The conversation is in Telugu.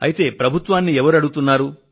అయితే ప్రభుత్వాన్ని ఎవరు అడుగుతున్నారు